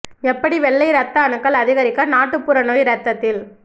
எப்படி வெள்ளை இரத்த அணுக்கள் அதிகரிக்க நாட்டுப்புற நோய் இரத்தத்தில்